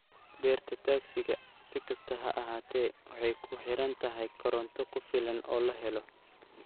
Beerta tagsiga, si kastaba ha ahaatee, waxay ku xiran tahay koronto ku filan oo la helo.